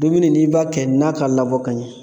Dumuni n'i b'a kɛ na k'a labɔ ka ɲɛ